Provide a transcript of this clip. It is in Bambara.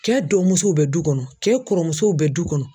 Kɛ dɔgɔmusow bɛ du kɔnɔ kɛ kɔrɔmusow bɛ du kɔnɔ.